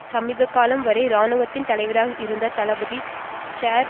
சமீப காலம் வரை இராணுவத்தின் தலைவராக இருந்த தளபதி சேர்